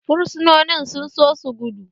Fursunonin sun so su gudu